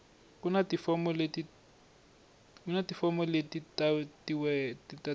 ku na tifomo leti tatiwaku